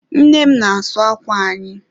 Nne m n'asu ákwà anyị.